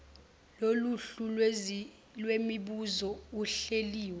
loluhlu lwemibuzo ehleliwe